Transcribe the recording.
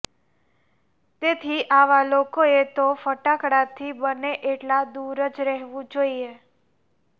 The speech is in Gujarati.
તેથી આવા લોકોએ તો ફટાકડાથી બને એટલા દુર જ રહેવુ જોઇએ